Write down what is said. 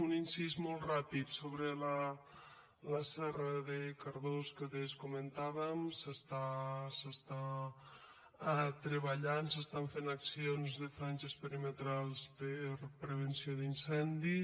un incís molt ràpid sobre la serra de cardó que adés comentàvem s’està treballant s’estan fent accions de franges perimetrals per a prevenció d’incendis